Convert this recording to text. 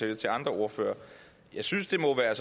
det til andre ordførere og jeg synes det må være